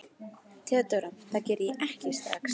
THEODÓRA: Það geri ég ekki strax.